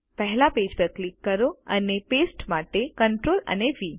પહેલા પેજ પર ક્લિક કરો અને પેસ્ટ માટે Ctrl અને વી